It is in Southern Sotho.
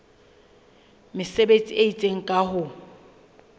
mesebetsi e itseng ka ho